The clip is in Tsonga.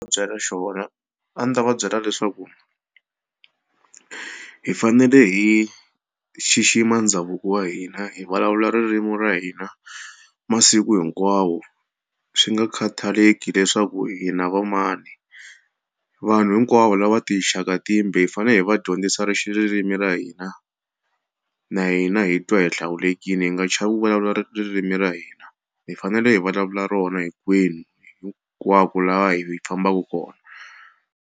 Byela xona a ndzi ta va byela leswaku hi fanele hi xixima ndhavuko wa hina hi vulavula ririmi ra hina masiku hinkwawo swi nga khataleki leswaku hina vamana vanhu hinkwavo lava tixaka timbe hi fanele hi va dyondzisa ri xi ririmi ra hina na hina hi twa hi hlawulekile hi nga chavi ku vulavula ririmi ra hina hi fanele hi vulavula rona hinkwenu hinkwako laha hi fambaka kona.